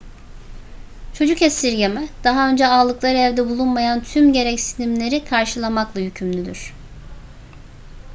çocuk esirgeme daha önce alındıkları evde bulunmayan tüm gereksinimleri karşılamakla yükümlüdür